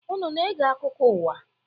Unu na-ege akụkọ ụwa?